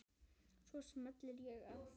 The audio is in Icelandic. Svo smelli ég af.